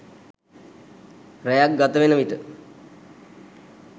රැයක් ගතවෙන විට